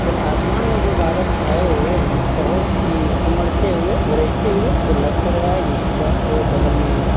और आसमान में जो बादल छाए हुए हैं बहोत ही उमड़ते हुए गरजते हुए तो लग तो रहा है इस तरह और बगल में --